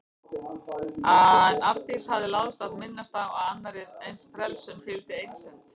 En Arndísi hafði láðst að minnast á að annarri eins frelsun fylgdi einsemd.